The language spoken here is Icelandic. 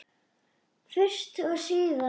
Fyrst og síðast.